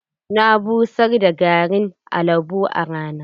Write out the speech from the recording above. Na busar da garin albo a rana.